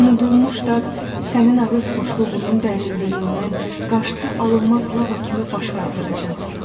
Bu unudulmuş dad sənin ağız boşluğunun dərinliyindən qarşısı alınmaz lava kimi baş qaldıracaq.